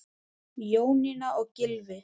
Jónína og Gylfi.